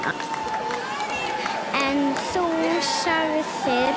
En þú sagðir.